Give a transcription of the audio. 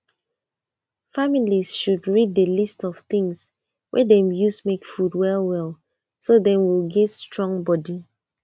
family should read the list of things wey dem use make food well well so dem go get strong body